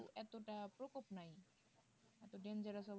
এতটা প্রকোপ নাই এত dangerous